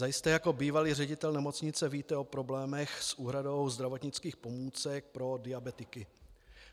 Zajisté jako bývalý ředitel nemocnice víte o problémech s úhradou zdravotnických pomůcek pro diabetiky.